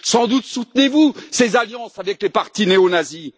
Sans doute soutenez vous ces alliances avec les partis néonazis?